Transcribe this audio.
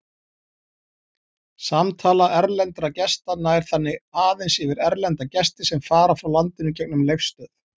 Samtala erlendra gesta nær þannig aðeins yfir erlenda gesti sem fara frá landinu gegnum Leifsstöð.